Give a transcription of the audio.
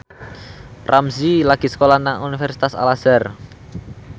Ramzy lagi sekolah nang Universitas Al Azhar